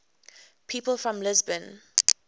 people from lisbon